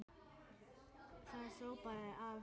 Það sópaði af henni.